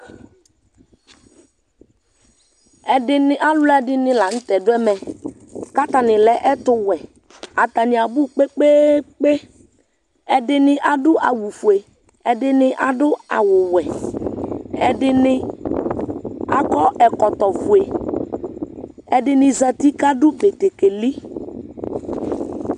ɛdini aloɛdini lantɛ do ɛmɛ k'atani lɛ ɛtowɛ atani abò kpekpekpe ɛdini ado awu fue ɛdini ado awu wɛ ɛdini akɔ ɛkɔtɔ fue ɛdini zati k'ado batakari